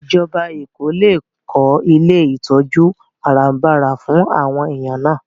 Ìjọba Èkó lè kó ilé ìtọ́jú àràbarà fún àwọn èèyàn náà